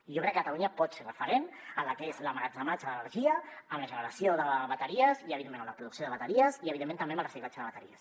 i jo crec que catalunya pot ser referent en el que és l’emmagatzematge d’energia en la generació de bateries i evidentment en la producció de bateries i evidentment també en el reciclatge de bateries